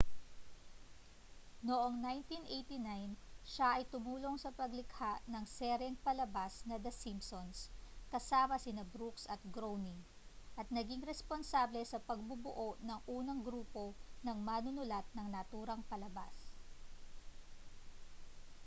noong 1989 siya ay tumulong sa paglikha ng seryeng palabas na the simpsons kasama sina brooks at groening at naging responsable sa pagbubuo ng unang grupo ng manunulat ng naturang palabas